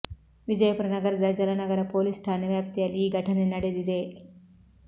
ವಿಜಯಪುರ ನಗರದ ಜಲನಗರ ಪೊಲೀಸ್ ಠಾಣೆ ವ್ಯಾಪ್ತಿಯಲ್ಲಿ ಈ ಘಟನೆ ನಡೆದಿದೆ